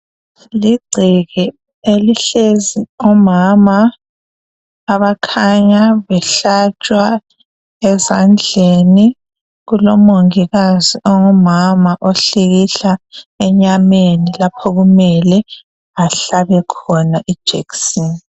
kulegceke elihlezi omama abakhanya behlatshwa ezandleni kulomongikazi ongumama ohlikihla enyameni lapho okumele ahlabe khona ijekiseni